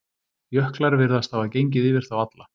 Jöklar virðast hafa gengið yfir þá alla.